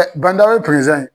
Ban Dawu ye presidant ye.